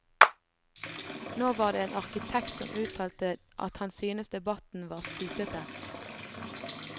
Nå var det en arkitekt som uttalte at han syntes debatten var sytete.